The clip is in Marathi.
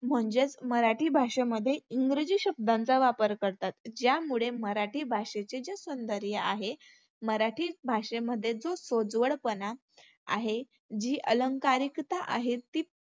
म्हणजेच मराठी भाषेमध्ये इंग्रजी शब्दांचा वापर करतात. त्यामुळे मराठी भाषेचे आहे मराठी भाषेमध्ये जो सोज्वळपणा आहे, जी अलंकारिकता आहे ती